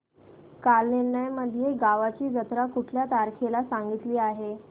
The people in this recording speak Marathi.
कालनिर्णय मध्ये गावाची जत्रा कुठल्या तारखेला सांगितली आहे